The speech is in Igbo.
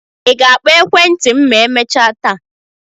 Ị ga-akpọ ekwentị m ma emechaa taa?